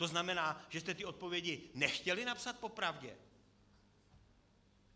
To znamená, že jste ty odpovědi nechtěli napsat popravdě?